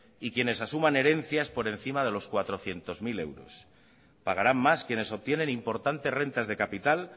y quienes asuman herencias por encima de los cuatrocientos mil euros pagarán más quienes obtienen importantes rentas de capital